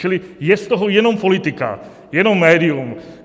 Čili je z toho jenom politika, jenom médium.